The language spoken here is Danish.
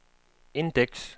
indeks